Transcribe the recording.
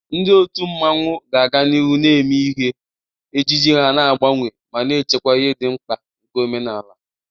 Ndị otu mmanwu ga-aga n'ihu na-eme ihe, ejiji ha na-agbanwe ma na-echekwa ihe dị mkpa nke omenala.